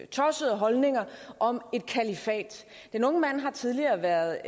tossede holdninger om et kalifat den unge mand har tidligere været